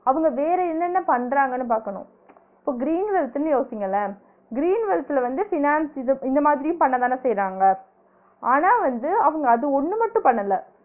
அவுங்க வேற என்ன என்ன பண்றாங்கன்னு பாக்கணு இப்ப green wealth ன்னு யோசிங்களேன் green wealth ல வந்து finance இது இந்த மாதிரியும் பண்ணதானே செய்றாங்க ஆனா வந்து அவுங்க அது ஒன்னு மட்டும் பண்ணல